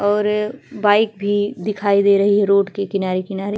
और बाइक भी दिखाई दे रही है रोड के किनारे-किनारे --